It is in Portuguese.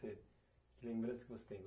Que lembrança que você tem?